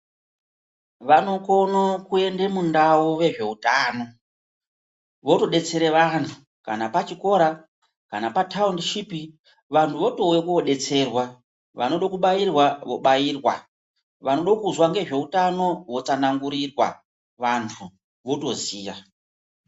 Vanokono kuende mundau vezveutano, votodetsere vantu kana pachikora kana pataundishipi, vantu votouye kodetserwa, vanodo kubairwa vobairwa, vanodo kuzwa ngezveutano votsanangurirwa, vantu votoziya.